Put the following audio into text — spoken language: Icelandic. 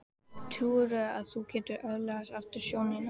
Trúirðu að þú getir öðlast aftur sjónina?